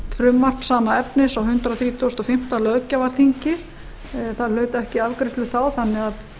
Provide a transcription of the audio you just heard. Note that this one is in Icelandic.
frumvarp sama efnis á hundrað þrítugasta og fimmta löggjafarþingi það hlaut ekki afgreiðslu þá þannig að